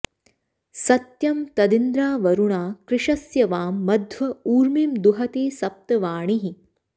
सत्यं तदिन्द्रावरुणा कृशस्य वां मध्व ऊर्मिं दुहते सप्त वाणीः